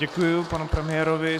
Děkuji panu premiérovi.